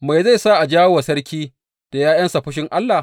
Me zai sa a jawo wa sarki da ’ya’yansa fushin Allah?